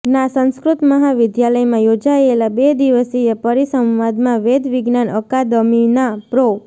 ના સંસ્કૃત મહાવિદ્યાલયમાં યોજાયેલા બેદિવસીય પરિસંવાદમાં વેદવિજ્ઞાાન અકાદમીના પ્રો